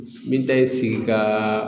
Min ta ye sigi kaaa